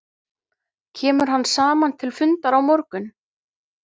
Kemur hann saman til fundar á morgun?